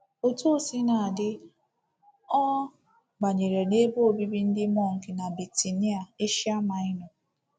Otú o sina dị, ọ banyere n’ebe obibi ndị mọnk na Bitinia, Asia Minor.